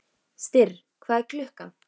Styrr, hvað er klukkan?